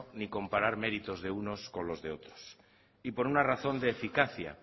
ni comparar meritos de unos con los de otros y por una razón de eficacia